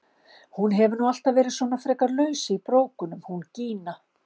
Hún hefur nú alltaf verið svona frekar laus í brókunum hún Gína!